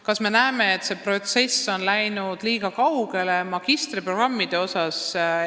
Kas me näeme, et see protsess on magistriprogrammides läinud liiga kaugele?